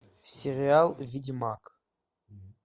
сериал ведьмак